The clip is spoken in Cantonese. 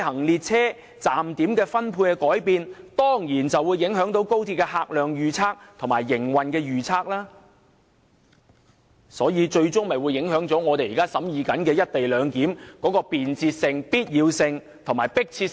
列車站點數目的改變，必然影響高鐵的客量預測及營運預測，進而最終影響我們現正審議的"一地兩檢"安排的便捷性、必要性和迫切性。